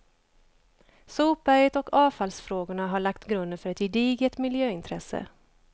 Sopberget och avfallsfrågorna har lagt grunden för ett gediget miljöintresse.